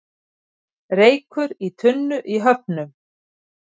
Reykur í tunnu í Höfnum